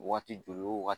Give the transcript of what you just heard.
Waati joli o waati